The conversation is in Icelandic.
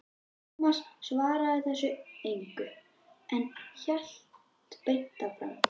Tómas svaraði þessu engu, en hélt beint áfram